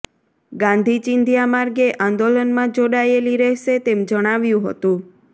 ગાંધી ચિંધ્યા માર્ગે આંદોલનમાં જોડાયેલી રહેશે તેમ જણાવ્યું હતું